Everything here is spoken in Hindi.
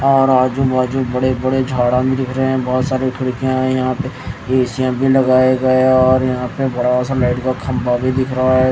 और आजू बाजू बड़े बड़े झाड़ा भी दिख रहे हैं बहुत सारे खिड़कियां हैं यहां पे ए_सी भी लगाए गए है और यहां पे बड़ा सा लाइट का खंभा भी दिख रहा है।